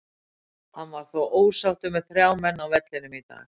Hann var þó ósáttur með þrjá menn á vellinum í dag.